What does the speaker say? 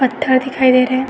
पत्थर दिखाई दे रहे हैं।